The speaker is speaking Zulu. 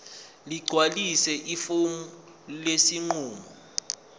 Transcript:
ligcwalise ifomu lesinqumo